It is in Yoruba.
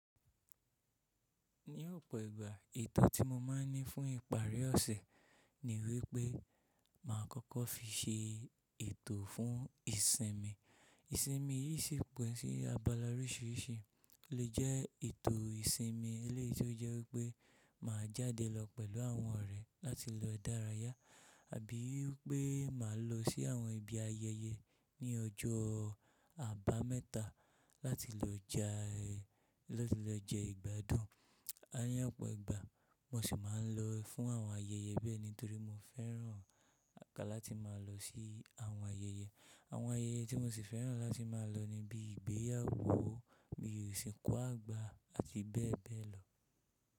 Ní ọ̀pọ̀ ìgbà ètò tí mo máa ń ní fún ìparí ọ̀sẹ̀ ni wípé máa kọ́kọ́ fi ṣe ètò fún ìsinmi. Ìsinmi yìí sì pín sí abala oríṣìíríṣìí, ó lè jẹ́ ètò ìsinmi eléyìí tí ó jẹ́ wípé máa jáde lọ pẹ̀lú àwọn ọ̀rẹ́ láti lọ dárayá, àbí wípé máa lọ sí àwọn ibi ayẹyẹ ní ọjọ́ àbámẹ́ta láti lọ jẹ ìgbádùn. Láyé ọ̀pọ̀ ìgbà mo sì máa ń lọ fún àwọn ayẹyẹ bẹ́ẹ̀ nítorí mo fẹ́ràn àká láti máa lọ sí àwọn ayẹyẹ. Àwọn ayẹyẹ tí mo sì fẹ́ràn láti máa lọ ni bí i ìgbéyàwó, bí i ìsìnkú àgbà àti bẹ́ẹ̀ bẹ́ẹ̀ lọ.